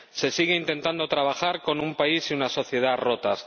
Se sigue intentando trabajar con un país y una sociedad rotos.